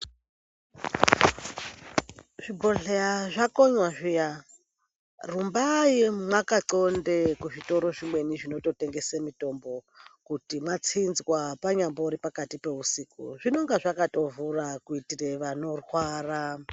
Zvibhehleya zvakonya zviya rumbai makathonde kuzvitoro zvimweni zvinototengese mitombo kuti mwatsinzwa panyambori pakati peusiku zvinonga zvakatovhura kuitire vanorwara.